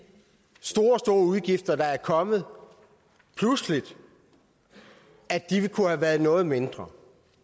store store udgifter der er kommet pludseligt kunne have været noget mindre